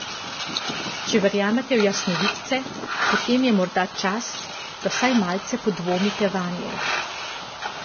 Če verjamete v jasnovidce, potem je morda čas, da vsaj malce podvomite vanje.